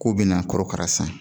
K'u bɛna kɔrɔkara san